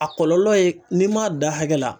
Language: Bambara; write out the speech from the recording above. A kɔlɔlɔ ye n'i m'a dan hakɛ la